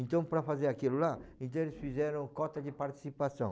Então, para fazer aquilo lá, então eles fizeram cota de participação.